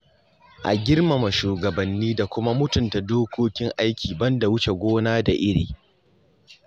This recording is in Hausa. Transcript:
A Girmama shugabanni da kuma mutunta dokokin aiki ban da wuce gona da iri.